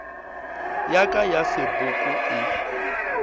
ya ka ya sepoko e